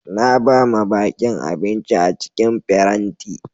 Na ba ma bakin abinci a cikin farenti.